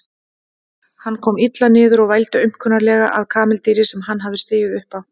Hann kom illa niður og vældi aumkunarlega að kameldýri sem hann hafði stigið upp á.